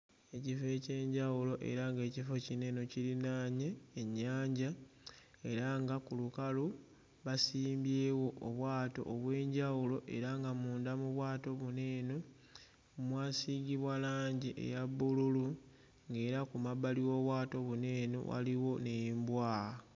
Ekifo eky'enjawulo era ng'ekifo kino eno kirinaanye ennyanja era nga ku lukalu basimbyewo obwato obw'enjawulo era nga munda mu bwato buno eno mwasiigibwa langi eya bbululu ng'era ku mabbali w'obwato buno eno waliwo n'embwa.